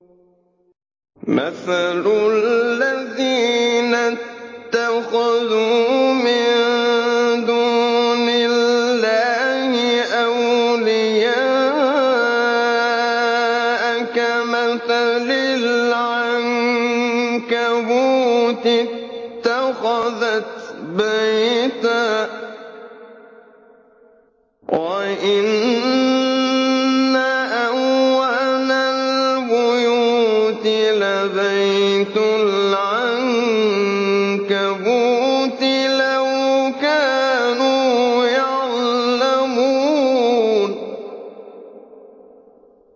مَثَلُ الَّذِينَ اتَّخَذُوا مِن دُونِ اللَّهِ أَوْلِيَاءَ كَمَثَلِ الْعَنكَبُوتِ اتَّخَذَتْ بَيْتًا ۖ وَإِنَّ أَوْهَنَ الْبُيُوتِ لَبَيْتُ الْعَنكَبُوتِ ۖ لَوْ كَانُوا يَعْلَمُونَ